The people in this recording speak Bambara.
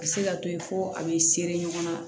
A bɛ se ka to ye ko a bɛ sere ɲɔgɔn na